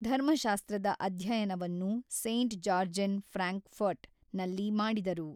ಧರ್ಮಶಾಸ್ತ್ರದ ಅದ್ಯಯನವನ್ನು Saint Georgen Frankfurt ನಲ್ಲಿ ಮಾಡಿದರು.